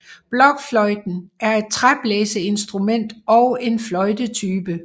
Blokfløjten er et træblæserinstrument og en fløjtetype